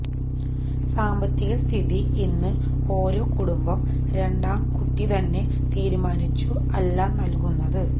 സാമ്പത്തിക സ്ഥിതി ഇന്ന് ഓരോ കുടുംബം രണ്ടാം കുട്ടി തന്നെ തീരുമാനിച്ചു അല്ല നൽകുന്നത്